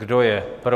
Kdo je pro?